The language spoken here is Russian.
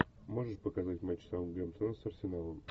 можешь показать матч саутгемптона с арсеналом